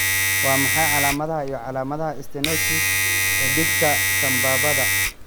Waa maxay calaamadaha iyo calaamadaha stenosis xididka sambabada?